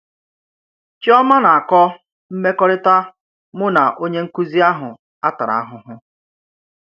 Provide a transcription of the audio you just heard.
Chíòmà nà-àkọ́: Mmèkòrítà mụ̀ nà ònyé nkụ́zì àhụ́ à tàrà ahụhụ